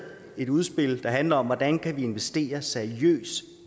et udspil der handler om hvordan vi kan investere i seriøs